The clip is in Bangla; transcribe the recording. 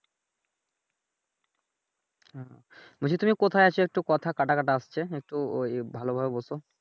তুমি কোথায় আছো একটু কথা কাঁটা কাঁটা আসছে একটু ওই এ ভালোভাবে বসো।